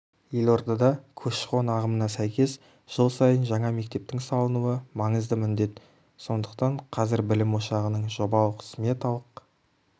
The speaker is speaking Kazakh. елордада көші-қон ағымына сәйкес жыл сайын жаңа мектептің салынуы маңызды міндет сондықтан қазір білім ошағының жобалық-сметалық